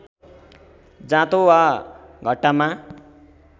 जाँतो वा घट्टामा